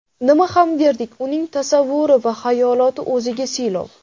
Nima ham derdik, uning tasavvuri va xayoloti o‘ziga siylov.